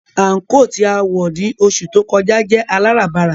Àńkò tí a wọ̀ ní oṣù tó kọjá jẹ́ aláràbarà